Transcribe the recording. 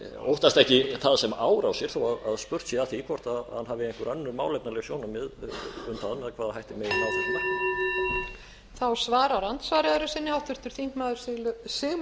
óttast ekki það sem árásir þó spurt sé að því hvort hafi einhver önnur málefnaleg sjónarmið um það með hvaða hætti megi ná því markmiði